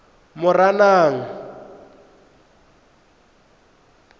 moranang